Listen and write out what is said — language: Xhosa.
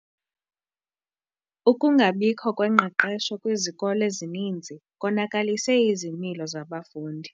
Ukungabikho kwengqeqesho kwizikolo ezininzi konakalise izimilo zabafundi.